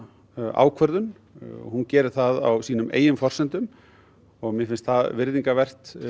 ákvörðun hún gerir það á sínum eigin forsendum og mér finnst það virðingarvert